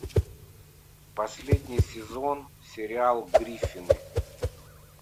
последний сезон сериал гриффины